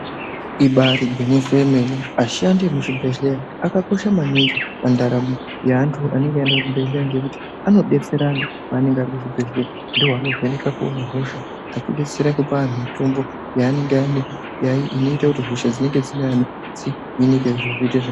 Ibaari ngwinyiso remene ashandi emuzvibhehleya akakosha maningi pandaramo yeantu anenge aenda kuzvibhehlera ngekuti anodetsera antu anenge arikuzvibhehlera ndiwo anovheneka kuona hosha achibetsera kupa antu mutombo yaanenge inoita kuti hosha dzinenge dzeinesa dzirapwe.